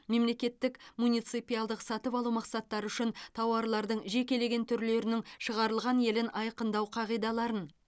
мемлекеттік муниципалдық сатып алу мақсаттары үшін тауарлардың жекелеген түрлерінің шығарылған елін айқындау қағидаларын